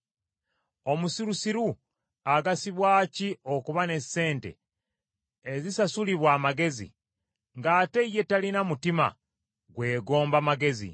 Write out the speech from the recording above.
Omusirusiru agasibwa ki okuba ne ssente ezisasulibwa amagezi, ng’ate ye talina mutima gwegomba magezi?